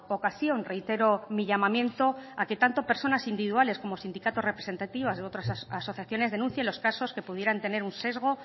ocasión reitero mi llamamiento a que tanto personas individuales como sindicatos representativas de otras asociaciones denuncien los casos que pudieran tener un sesgo